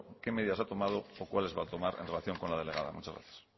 qué medidas ha tomado o cuáles va a tomar en relación con la delegada muchas gracias